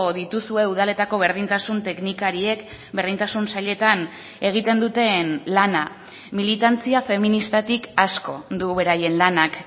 dituzue udaletako berdintasun teknikariek berdintasun sailetan egiten duten lana militantzia feministatik asko du beraien lanak